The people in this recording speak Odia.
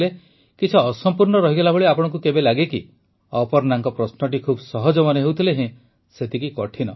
କିଛି ଅସମ୍ପୂର୍ଣ୍ଣ ରହିଗଲା ଭଳି ଆପଣଙ୍କୁ କେବେ ଲାଗେ କି ଅପର୍ଣ୍ଣାଙ୍କ ପ୍ରଶ୍ନଟି ଖୁବ୍ ସହଜ ମନେହେଉଥିଲେ ହେଁ ସେତିକି କଠିନ